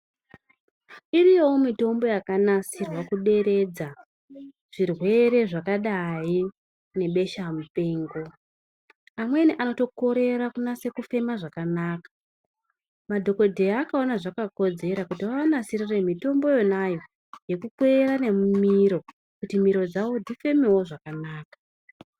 Iriyowo mitombo yakanasirwa kuderedza zvirwere zvakadai nebeshamupengo. Amweni anotokorera kunase kufema zvakanaka. Madhokodheya akaona zvakakodzera kuti vavanasirire mitombo yonayo yekukweyera nemumiro kuti miro dzawo dzifemewo zvakanaka.